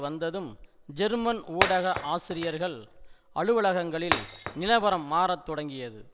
வந்ததும் ஜெர்மன் ஊடக ஆசிரியர்கள் அலுவலகங்களில் நிலவரம் மாறத்தொடங்கியது